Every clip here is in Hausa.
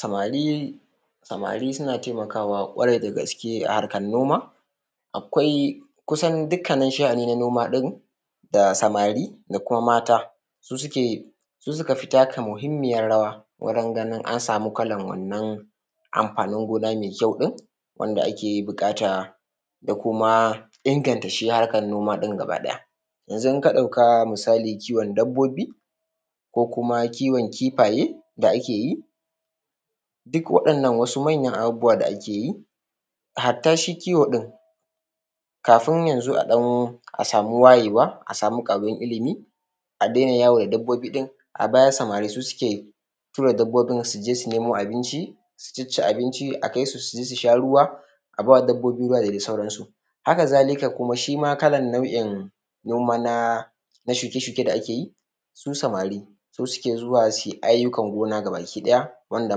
Samari, samari suna taimakawa ƙwarai da gaske a harkan noma, akwai, kusan dukkanin sha’ani na noma ɗin da samari, da kuma mata, su suka fi taka muhimmiyar rawa wurin ganin an samu kalan amfanin gona mai kyau din, wanda ake buƙata da kuma inganta shi harkan noma iɗn gaba ɗaya. Yanzu in ka ɗauka misali kiwon dabbobi, ko kuma kiwon kifaye da ake yi, duk waɗannan wasu manyan abubuwa da ake yi, hatta shi kiwo din, kafin yanzu a ɗan a samu wayewa, a samu ƙaruwan ilimi, a dena yawo da dabbobi ɗin, a baya samari su suke tura dabbobin, su je su nemo abinci, su cici abinci, akai su su je su sha ruwa, abawa dabbobi ruwa da dai sauransu. Haka zalika kuma shima kalan na’in noma na shuke-shuke da ake yi, su samari su suke zuwa suyi ayyukan gona gaba ki ɗaya, wanda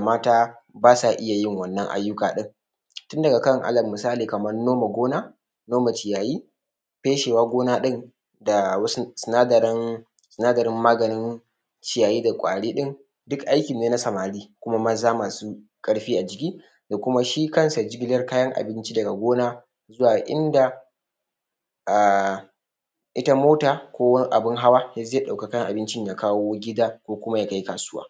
mata basa iya yin wannan ayyuka din, tunda kan ala misali kaman noma gona, noma ciyayyi, feshewa gona din, da wasu sinadarin, sinadarin maganin ciyayyi da ƙwari ɗin, duk aiki ne na samari, kuma maza masu ƙarfi a jiki, dashi kan shi jigilan abinci daga gona, zuwa inda, a ita mota ko abin hawa yanzu zai ɗauki kayan abincin ya kai gida ko kuma ya kai kasuwa.